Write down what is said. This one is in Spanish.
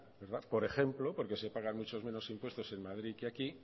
por ejemplo porque se pagan mucho menos impuestos en madrid que aquí